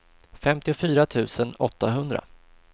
femtiofyra tusen åttahundra